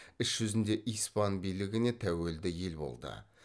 іс жүзінде испан билігіне тәуелді ел болды